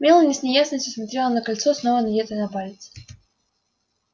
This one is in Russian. мелани с неясностью смотрела на кольцо снова надетое на палец